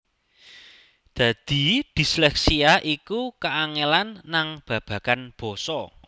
Dadi disleksia iku kaangelan nang babagan basa